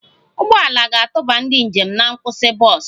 Ụgbọ ala ga-atụba ndị njem na nkwụsị bọs